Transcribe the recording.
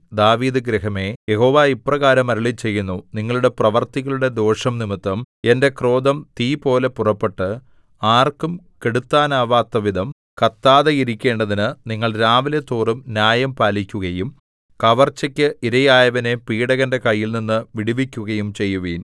ദാവീദുഗൃഹമേ യഹോവ ഇപ്രകാരം അരുളിച്ചെയ്യുന്നു നിങ്ങളുടെ പ്രവൃത്തികളുടെ ദോഷംനിമിത്തം എന്റെ ക്രോധം തീപോലെ പുറപ്പെട്ട് ആർക്കും കെടുത്താനാകാത്തവിധം കത്താതെയിരിക്കേണ്ടതിന് നിങ്ങൾ രാവിലെതോറും ന്യായം പാലിക്കുകയും കവർച്ചയ്ക്ക് ഇരയായവനെ പീഡകന്റെ കൈയിൽനിന്നു വിടുവിക്കുകയും ചെയ്യുവിൻ